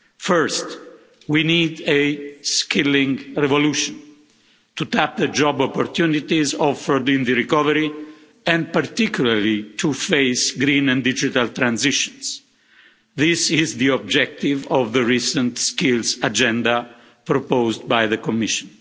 First, we need a skilling revolution to tap the job opportunities offered in the recovery, and particularly to face green and digital transitions. This is the objective of the recent Skills Agenda proposed by the Commission.